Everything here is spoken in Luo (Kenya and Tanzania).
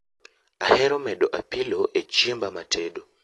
Ahero medo apilo e chiemba matedo